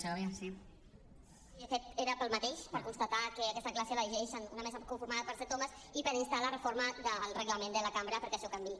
sí de fet era pel mateix per constatar que aquesta declaració la llegeix una mesa conformada per set homes i per instar la reforma del reglament de la cambra perquè això canviï